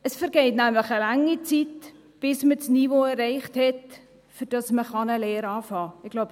Es vergeht nämlich eine lange Zeit, bis man das Niveau erreicht hat, mit dem man eine Lehre anfangen kann.